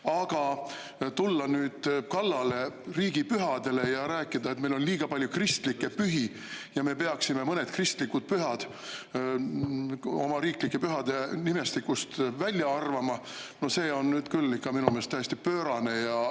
Aga tulla nüüd kallale riigipühadele ja rääkida, et meil on liiga palju kristlikke pühi ja me peaksime mõned kristlikud pühad oma riiklike pühade nimestikust välja arvama – no see on nüüd küll ikka minu meelest täiesti pöörane.